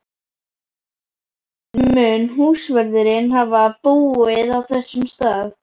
tímabili mun húsvörðurinn hafa búið á þessum stað.